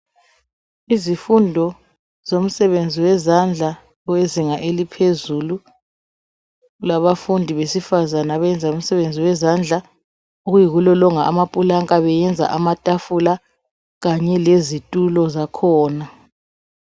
Izifundo zomsebenzi wezandla wezinga eliphezulu labafundi besifazana abemza umsebenzi wezandla okuyikulolonga amaplanka besenza amatafula Kanye lezitulo zakhona